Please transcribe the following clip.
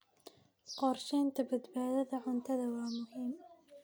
Qorshaynta badbaadada cuntadu waa muhiim.